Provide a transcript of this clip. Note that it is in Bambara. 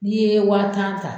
N'i ye wa tan ta